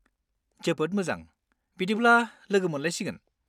जोबोद मोजां, बिदिब्ला लोगो मोनलायसिगोन।